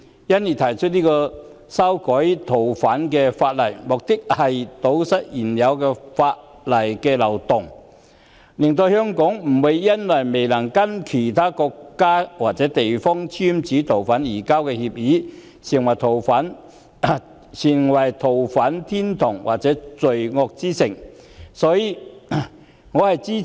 修例的目的，是為了堵塞現時法例的漏洞，以防香港因為未有跟其他國家或地方簽署逃犯移交協定，而淪為逃犯天堂或罪惡之城。